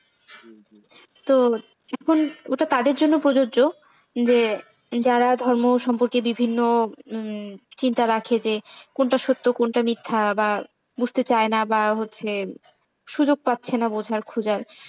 তো যখন ওটা তাদের জন্য প্রযোজ্য যে যারা ধর্ম সম্পর্কে বিভিন্ন চিন্তা রাখে যে, কোনটা সত্য কোনটা মিথ্যা বা বুঝতে চায় না বা হচ্ছে সুযোগ পাচ্ছে না বোঝার খোঁজার।